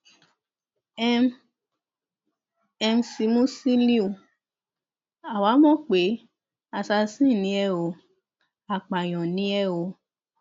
m mc musiliu àwa mọ pé assasin ni ẹ ò apààyàn ni ẹ o